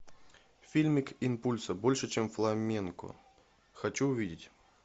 фильмик импульсо больше чем фламенко хочу увидеть